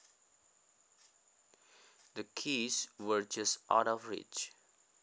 The keys were just out of reach